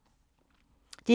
DR1